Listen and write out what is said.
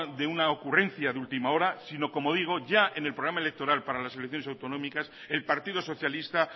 de una ocurrencia de última hora sino como digo ya en el programa electoral para las elecciones autonómicas el partido socialista